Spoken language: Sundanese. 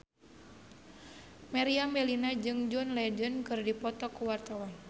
Meriam Bellina jeung John Legend keur dipoto ku wartawan